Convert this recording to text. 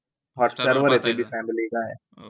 हॉटस्टारवरे ते बी फॅमिली गाय